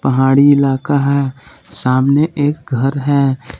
पहाड़ी इलाका है सामने एक घर है।